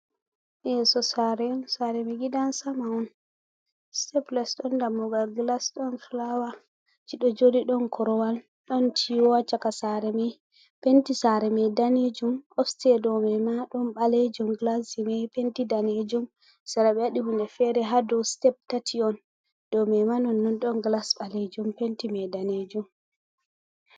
Yeso sare, sare mai ɗum gidan sama on, steples ɗon dammugal gilas, ɗon fulawaji ɗo joɗi, ɗon korowal, ɗon ciwo ha caka sare mai, penti sare mai danejum, of siteya dow mai ma ɗon balejum, gilas mai penti danejum, saraɓe waɗi hunde fere, hadow mai sitep tati on, dow mai ma non non, ɗon gilas balejum penti mai danejum.